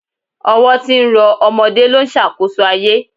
Ọwọ́ tí ń rọ ọmọdé ló ń ṣàkóso ayé